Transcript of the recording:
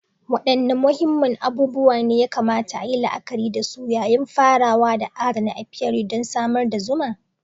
Wadanne muhimman abubuwa ne ya kamata a yi la'akari da su yayin farawa da adana apiary don samar da zuma?